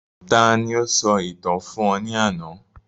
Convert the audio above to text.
Ta ni o sọ ìtàn fún ọ ní àná